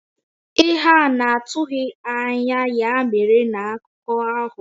Ihe a na-atụghị anya ya mere na akụkọ ahụ.